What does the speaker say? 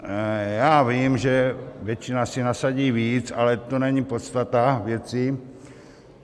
Já vím, že většina si nasadí víc, ale to není podstata věci.